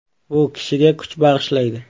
Bu kishiga kuch bag‘ishlaydi.